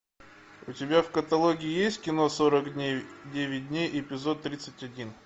у тебя в каталоге есть кино сорок дней девять дней эпизод тридцать один